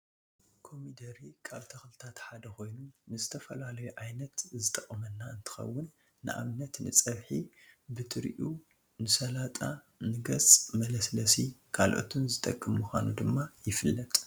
ኮሚዴሬ ካብ ተክልታት ሓደ ኮይኑ ንዝተፈላለዩ ዓይነት ዝጠቅመና እንትከውን ንኣብነት ንፀብሒ ብጥሪኡ ንሳላጣ ንገፅ መለስለሲ ካልኦትን ዝጠቅም ምኳኑ ድማ ይፍለጥ።